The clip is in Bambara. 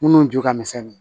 Minnu ju ka misɛn